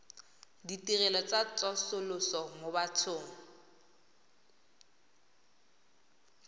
ditirelo tsa tsosoloso mo bathong